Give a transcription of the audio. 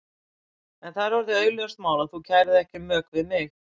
En það er orðið augljóst mál að þú kærir þig ekki um mök við mig!